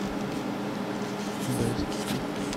бэст фуд